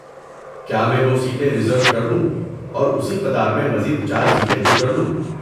کیا میں وہ سیٹیں ریزرو کر لوں اور اسی قطار میں مزید چار سیٹیں بک کرلوں؟